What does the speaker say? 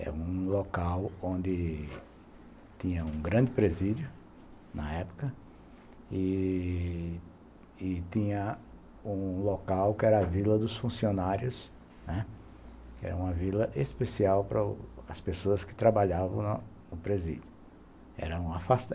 É um local onde tinha um grande presídio, na época, e e tinha um local que era a Vila dos Funcionários, né, que era uma vila especial para as pessoas que trabalhavam no presídio.